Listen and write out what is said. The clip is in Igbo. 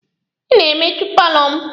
Ị na-emechu paalọ m!